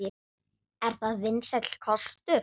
Er það vinsæll kostur?